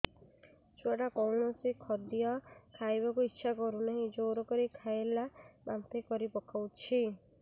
ଛୁଆ ଟା କୌଣସି ଖଦୀୟ ଖାଇବାକୁ ଈଛା କରୁନାହିଁ ଜୋର କରି ଖାଇଲା ବାନ୍ତି କରି ପକଉଛି